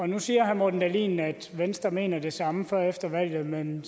nu siger herre morten dahlin at venstre mener det samme før og efter valget men